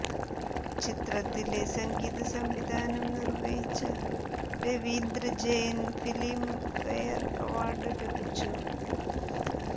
ചിത്രത്തിലെ സംഗീത സംവിധാനം നിർവഹിച്ച രവീന്ദ്ര ജെയ്ന് ഫിലിംഫെയർ അവാർഡ് ലഭിച്ചു